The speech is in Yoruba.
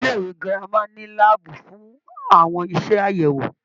Ilé-ìwé gírámà ní láàbù fún àwọn iṣẹ àyẹwò.